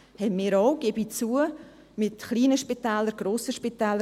Diese haben wir auch, das gebe ich zu, mit kleinen Spitälern und grossen Spitälern.